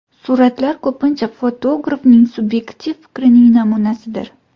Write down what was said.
Suratlar ko‘pincha fotografning subyektiv fikrining namunasidir.